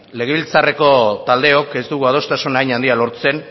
legebiltzarreko taldeok ez dugu adostasun hain handia lortzen